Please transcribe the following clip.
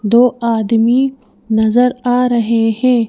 दो आदमी नजर आ रहे हैं।